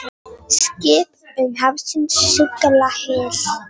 Skip um hafsins sigla hyl.